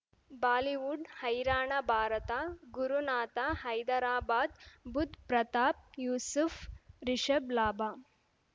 Bollywood ಹೈರಾಣ ಭಾರತ ಗುರುನಾಥ ಹೈದರಾಬಾದ್ ಬುಧ್ ಪ್ರತಾಪ್ ಯೂಸುಫ್ ರಿಷಬ್ ಲಾಭ